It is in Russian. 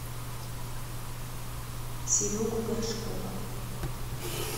серегу горшкова